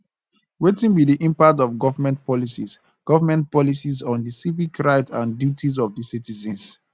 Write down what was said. wetin be di impact of government policies government policies on di civic rights and duties of di citizens